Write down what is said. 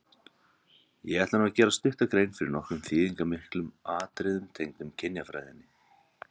Ég ætla nú að gera stutta grein fyrir nokkrum þýðingarmiklum atriðum tengdum kynjafræðinni.